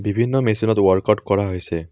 বিভিন্ন মেচিনত ৱৰ্কআউট কৰা হৈছে।